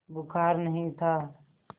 बुखार नहीं था